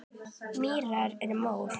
Mýrar og mór